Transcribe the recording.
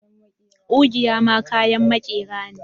Kugiya ma kayan makera ne